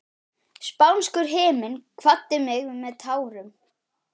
Spánskur himinn kvaddi mig með tárum.